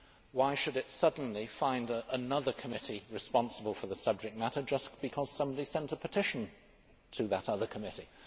Why should it suddenly find another committee responsible for the subject matter just because somebody sent a petition to that other committee?